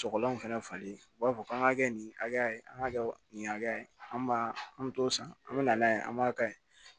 Sɔgɔlan fɛnɛ falen u b'a fɔ k'an ka kɛ nin hakɛ ye an k'a kɛ nin hakɛ ye an b'a an bɛ t'o san an mi na n'a ye an b'a kaɲi